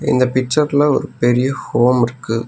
இந்த பிச்சட்ல ஒரு பெரிய ஹோம் இருக்கு.